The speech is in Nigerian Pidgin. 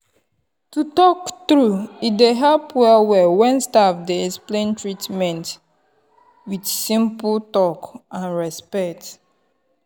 to talk true e dey help well well when staff dey explain treatment with simple talk and respect.